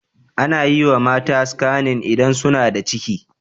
Anayiwa mata skanin idan suna da ciki